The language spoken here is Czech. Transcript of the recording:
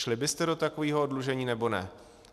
Šli byste do takového oddlužení, nebo ne?